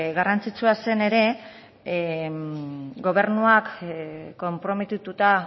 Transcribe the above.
garrantzitsua zen ere gobernuak konprometituta